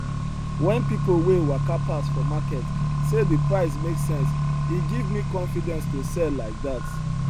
when people wey waka pass for market say the price make sense e give me confidence to sell like that